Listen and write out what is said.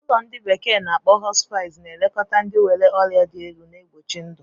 Ụlọ ndi bekee na-akpo Hospice na-elekọta ndị nwere ọrịa dị elu, na-egbochi ndụ.